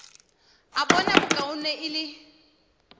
a bona bokaone e le